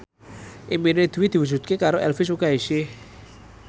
impine Dwi diwujudke karo Elvi Sukaesih